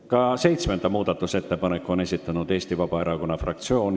Ka seitsmenda muudatusettepaneku on esitanud Eesti Vabaerakonna fraktsioon.